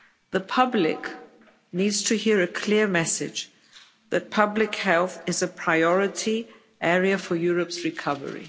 The public needs to hear a clear message that public health is a priority area for Europe's recovery.